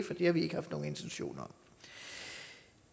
har vi ikke haft nogen intention om